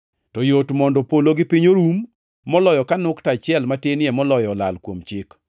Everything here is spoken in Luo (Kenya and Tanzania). To yot mondo polo gi piny orum, moloyo ka nukta achiel matinie moloyo olal kuom Chik.